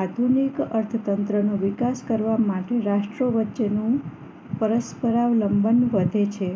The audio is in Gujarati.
આધુનિક અર્થતંત્રનો વિકાસ કરવા માટે રાષ્ટ્રો વચ્ચેનું પરસ્પર લંબન વધે છે